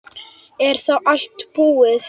Er þá allt búið?